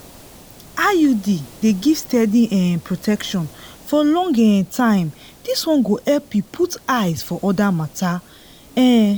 iud dey give steady um protection for long um time this one go help you put eyes for other matters. um